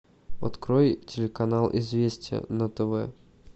открой телеканал известия на тв